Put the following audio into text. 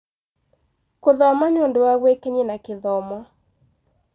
Gũthoma nĩ ũndũ wa gwĩkenia na gĩthomo.